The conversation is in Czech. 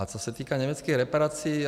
A co se týká německých reparací.